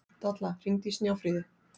Dalla, hringdu í Snjáfríði.